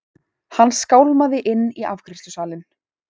Hann skálmaði inn í afgreiðslusalinn.